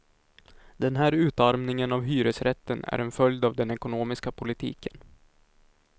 Den här utarmningen av hyresrätten är en följd av den ekonomiska politiken.